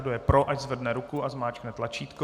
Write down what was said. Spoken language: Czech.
Kdo je pro, ať zvedne ruku a zmáčkne tlačítko.